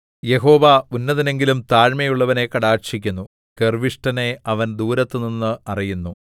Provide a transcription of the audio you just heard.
യഹോവ ഉന്നതനെങ്കിലും താഴ്മയുള്ളവനെ കടാക്ഷിക്കുന്നു ഗർവ്വിഷ്ഠനെ അവൻ ദൂരത്തുനിന്ന് അറിയുന്നു